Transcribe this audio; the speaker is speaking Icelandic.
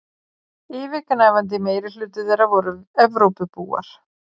Yfirgnæfandi meirihluti þeirra voru Evrópubúar.